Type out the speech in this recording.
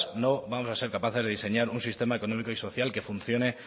no vamos a ser capaces de diseñar un sistema económico y social que funcione